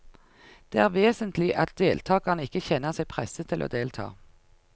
Det er vesentlig at deltakerne ikke kjenner seg presset til å delta.